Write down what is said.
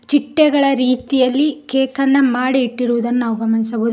ಚಿಟ್ಟೆಗಳ ರೀತಿಯಲ್ಲಿ ಕೇಕ್ ಅನ್ನ ಮಾಡಿ ಇಟ್ಟಿರುವುದನ್ನು ನಾವು ಗಮನಿಸಬಹು--